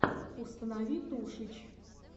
установи тушич